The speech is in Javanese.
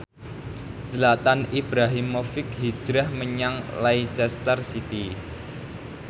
Zlatan Ibrahimovic hijrah menyang Leicester City